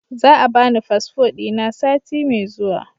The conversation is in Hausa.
Za a bani fasfo dina sati mai zuwa